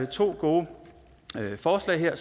to gode forslag her